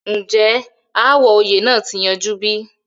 ǹjẹ́ ááwọ̀ oyè náà ti yanjú bí?